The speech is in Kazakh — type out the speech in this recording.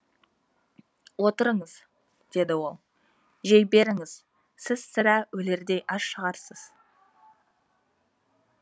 отырыңыз деді ол жей беріңіз сіз сірә өлердей аш шығарсыз